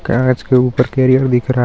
garage के ऊपर carrier दिख रहा --